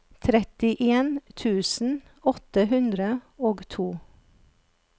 trettien tusen åtte hundre og to